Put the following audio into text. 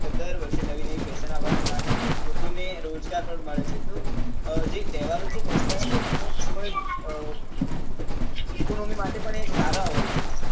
દર વર્ષે નવી નવી fashion આવવા નાં કારણે લોકો ને રોજગાર પણ મળે છે તો જે તહેવારો લોકો નો ખુબ જ અ economy માટે પણ એ સારા હોય છે